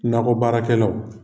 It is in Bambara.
Nakɔ baarakɛlaw.